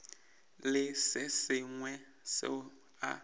le se sengwe seo a